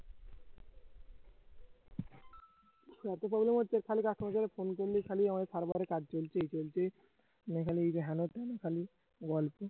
এতো problem হচ্ছে খালি customer care phone করলে খালি আমার server এ কাজ চলছে এই চলছে ওই চলছে মানে খালি হেনতেন খালি